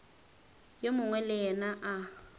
yo mongwe le yena a